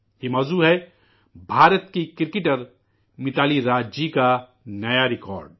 یہ موضوع ہے بھارت کی کرکٹ کھلاڑی متالی راج جی کا نیا ریکارڈ